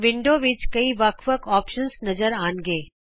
window ਵਿਚ ਕਈ ਅੱਲਗ ਅੱਲਗ ਵਿਕਲਪ ਨਜ਼ਰ ਆਉਣਗੇ